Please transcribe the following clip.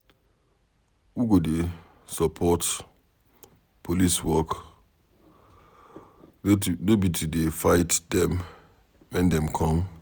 We go dey support police work, no be to dey fight dem wen dem come.